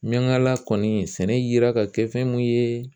Miniankala kɔni ,sɛnɛ yera ka kɛ fɛn mun ye